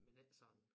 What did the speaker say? Men ikke sådan